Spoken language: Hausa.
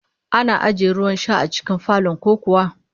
Ana ajiye ruwan sha a cikin falon ku kuwa?